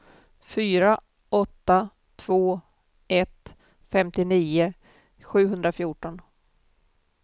fyra åtta två ett femtionio sjuhundrafjorton